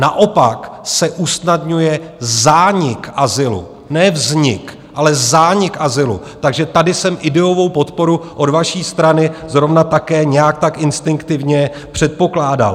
Naopak se usnadňuje zánik azylu, ne vznik, ale zánik azylu, takže tady jsem ideovou podporu od vaší strany zrovna také nějak tak instinktivně předpokládal.